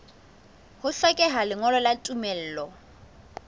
ho hlokeha lengolo la tumello